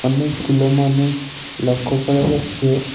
অনেকগুলো মানুষ লক্ষ্য করা যাচ্ছে।